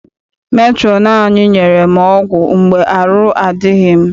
Metrọn anyị nyere m ọgwụ mgbe arụ adịghị m.